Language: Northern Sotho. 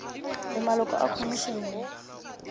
le maloko a khomišene ye